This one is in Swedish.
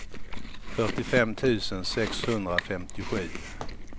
fyrtiofem tusen sexhundrafemtiosju